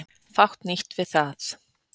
Fátt nýtt við það.